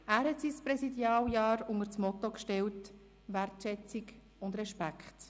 Er stellte sein Präsidialjahr unter das Motto «Wertschätzung und Respekt».